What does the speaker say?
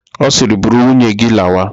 Ọ siiri, buru nwunye gị lawa!